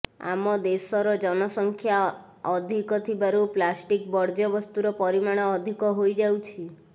ଆମ ଦେଶର ଜନସଂଖ୍ୟା ଅଧୀକ ଥିବାରୁ ପ୍ଲାଷ୍ଟିକ ବର୍ଜ୍ୟବସ୍ତୁର ପରିମାଣ ଅଧିକ ହୋଇଯାଉଛି